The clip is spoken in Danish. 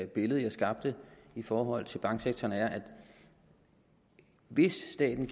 billede jeg skabte i forhold til banksektoren er at hvis staten